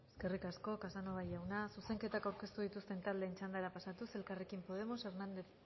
eskerrik asko casanova jauna zuzenketak aurkeztu dituzten taldeen txandara pasatuz elkarrekin podemos hernández